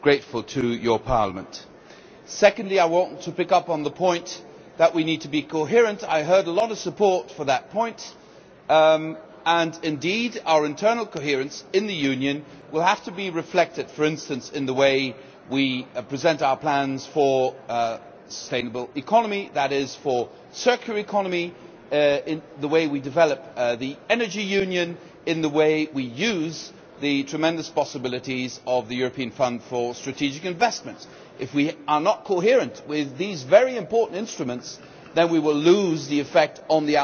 Secondly, I want to pick up on the point that we need to be coherent. I heard a lot of support for that point, and indeed our internal coherence in the Union will have to be reflected, for instance, in the way we present our plans for a sustainable economy, that is, for the circular economy, in the way we develop the Energy Union, in the way we use the tremendous possibilities of the European Fund for Strategic Investment. If we are not coherent with these very important instruments, then we will lose the effect on the outside world, the effect we